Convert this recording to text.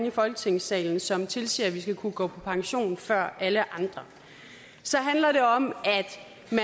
i folketingssalen som tilsiger at vi skal kunne gå på pension før alle andre så handler det om